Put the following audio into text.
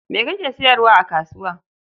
Me kake sayarwa a kasuwa?